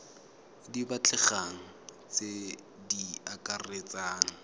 di batlegang tse di akaretsang